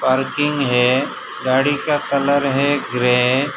Parking है गाड़ी का कलर है ग्रे ।